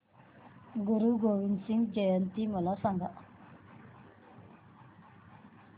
गुरु गोविंद सिंग जयंती मला सांगा